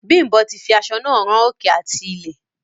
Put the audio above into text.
Bimbo fi aṣọ náà rán òkè àti ilẹ̀.